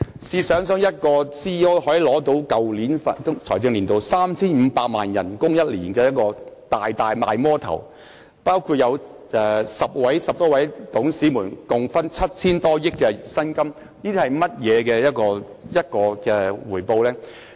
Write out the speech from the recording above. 試想一下，一名 CEO 可以在去年的財政年度獲得年薪 3,500 萬元，實在是"大魔頭"，而10多名董事共分得 7,000 多億元薪金，這是怎樣的回報呢？